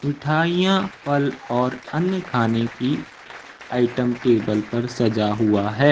मिठाइयां फल और अन्य खाने की आइटम टेबल पर सजा हुआ है।